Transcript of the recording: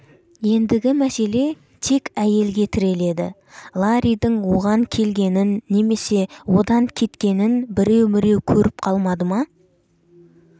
ендігі мәселе тек әйелге тіреледі ларридің оған келгенін немесе одан кеткенін біреу-міреу көріп қалмады ма